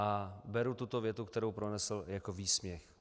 A beru tuto větu, kterou pronesl, jako výsměch.